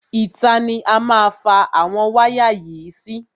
Ìta ni a má fa àwọn wáyà yìí sí.